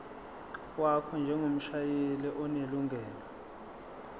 wakho njengomshayeli onelungelo